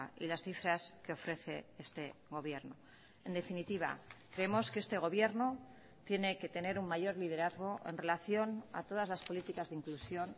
y las cifras que ofrece este gobierno en definitiva creemos que este gobierno tiene que tener un mayor liderazgo en relación a todas las políticas de inclusión